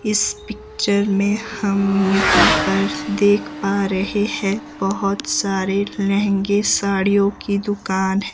इस पिक्चर में हम यहां पर देख पा रहे है बहोत सारे लहंगे साड़ियों की दुकान--